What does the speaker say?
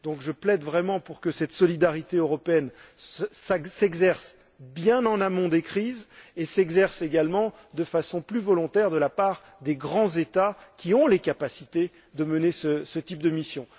Je plaide donc vraiment pour que cette solidarité européenne s'exerce bien en amont des crises, et s'exerce également de façon plus volontaire de la part des grands États qui ont les capacités de mener ce type de mission.